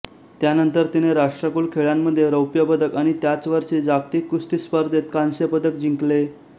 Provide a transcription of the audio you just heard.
त्यानंतर तिने राष्ट्रकुल खेळांमध्ये रौप्यपदक आणि त्याच वर्षी जागतिक कुस्ती स्पर्धेत कांस्य पदक जिंकले